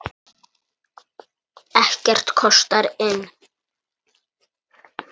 Ekkert kostar inn.